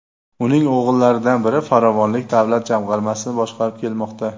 Uning o‘g‘illaridan biri Farovonlik davlat jamg‘armasini boshqarib kelmoqda.